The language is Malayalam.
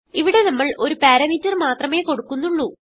ഇവിടെ നമ്മൾ ഒരു പാരാമീറ്റർ മാത്രമേ കൊടുക്കുന്നുള്ളൂ